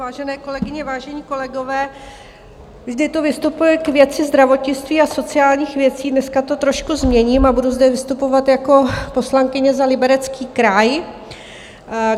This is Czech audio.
Vážené kolegyně, vážení kolegové, vždy tu vystupuji k věci zdravotnictví a sociálních věcí, dneska to trošku změním a budu zde vystupovat jako poslankyně za Liberecký kraj.